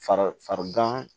Fari fari gan